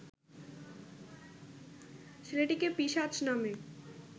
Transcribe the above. ছেলেটিকে পিশাচ নামে